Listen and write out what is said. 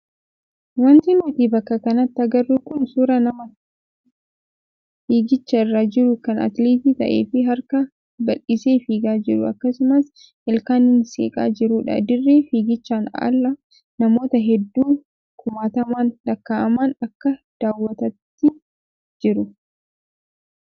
Wanti nuti bakka kanatti agarru kun suuraa nama fiigicha irra jiru kan atileetii ta'ee fi harka bal'isee fiigaa jiru akkasumas ilkaaniin seeqaa jirudha. Dirree fiigichaan ala namoota hedduu kumaataman lakkaa'aman akka daawwataatti jiru.